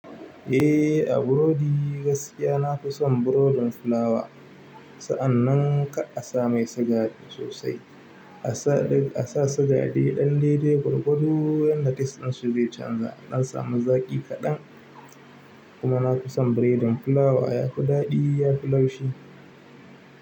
Eh a burodi gaskiya nafison burodin fulawa sa annan kar a samai siga sosai a samai a sa sigade ɗanɗeɗe gwargwado wanda tast ɗinshi nai canzawa adan samu zaƙi kaɗan. Kuma na fi son biredin fulawa yafi daɗi yafi laushi.